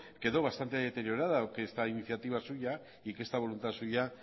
quedó bastante deteriorada que esta iniciativa suya y que esta voluntad suya